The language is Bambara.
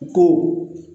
Ko